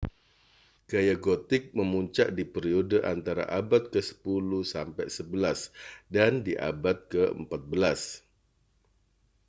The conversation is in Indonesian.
gaya gotik memuncak di periode antara abad ke 10-11 dan di abad ke-14